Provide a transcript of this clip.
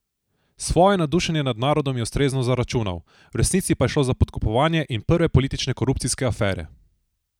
Svojo navdušenje nad narodom je ustrezno zaračunal: "V resnici pa je šlo za podkupovanje in prve politične korupcijske afere.